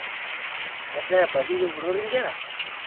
Keeta abaki kepurori nkera